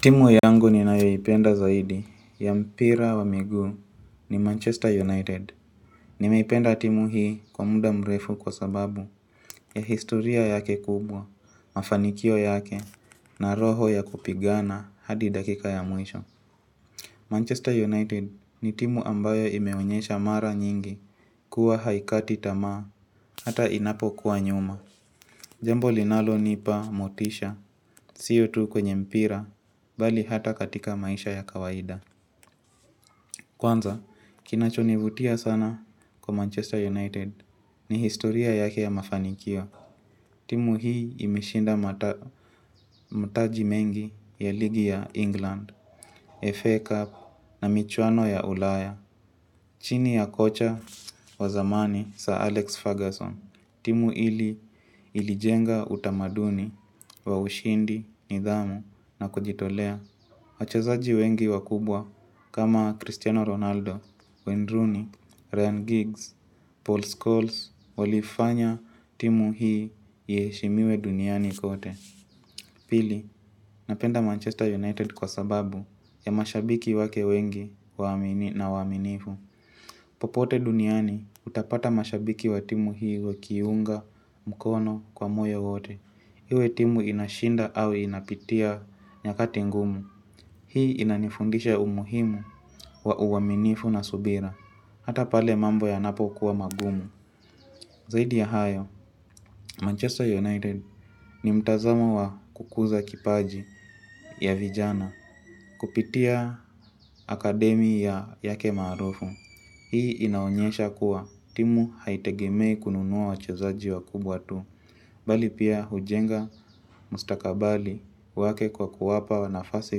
Timu yangu ninayoipenda zaidi ya mpira wa miguu ni Manchester united. Nimeipenda timu hii kwa muda mrefu kwa sababu ya historia yake kubwa, mafanikio yake na roho ya kupigana hadi dakika ya mwisho. Manchester United ni timu ambayo imewonyesha mara nyingi kuwa haikati tamaa hata inapo kuwa nyuma. Jambo linalo nipa motisha siyo tu kwenye mpira bali hata katika maisha ya kawaida. Kwanza, kinachonivutia sana kwa Manchester United ni historia yake ya mafanikio. Timu hii imeshinda mataji mengi ya ligi ya England, FA Cup na michwano ya ulaya. Chini ya kocha wa zamani sa Alex Ferguson. Timu hili ilijenga utamaduni wa ushindi, nidhamu na kujitolea. Wachezaji wengi wakubwa kama Cristiano Ronaldo, Windrooney, Ryan Giggs, Paul Scholes walifanya timu hii yeshimiwe duniani kote. Pili, napenda Manchester United kwa sababu ya mashabiki wake wengi waamini na waaminifu. Popote duniani utapata mashabiki wa timu hii wakiunga mkono kwa moyo wote. Hiwe timu inashinda au inapitia nyakati ngumu. Hii inanifundisha umuhimu wa uwaminifu na subira. Hata pale mambo yanapo kuwa magumu. Zaidi ya hayo, Manchester United ni mtazamo wa kukuza kipaji ya vijana. Kupitia akademiya yake marufu hii inaonyesha kuwa timu haitegemei kununuwa wachezaji wa kubwa tu. Bali pia hujenga mustakabali wake kwa kuwapa wanafase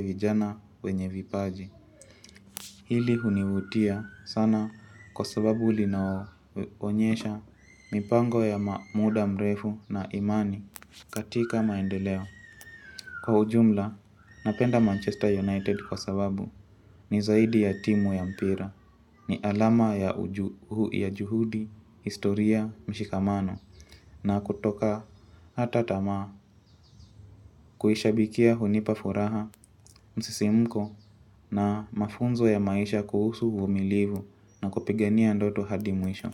vijana wenye vipaji. Hili hunivutia sana kwa sababu linao onyesha mipango ya maamuda mrefu na imani katika maendeleo. Kwa ujumla, napenda Manchester United kwa sababu ni zaidi ya timu ya mpira, ni alama ya ujuhudi, historia, mshikamano. Na kutoka hata tama kuhisha bikia hunipafuraha msisi mko na mafunzo ya maisha kuhusu uvumilivu na kupigania ndoto hadi mwisho.